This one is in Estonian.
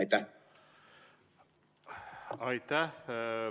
Aitäh!